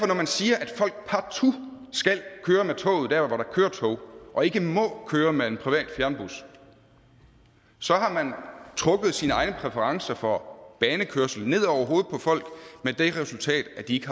når man siger at folk partout skal køre med toget der hvor der kører tog og ikke må køre med en privat fjernbus har man trukket sine egne præferencer for banekørsel ned over hovedet på folk med det resultat at de